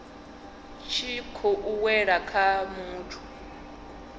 tshi khou wela kha muthu